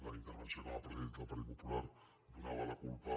la intervenció que m’ha pre·cedit del partit popular donava la culpa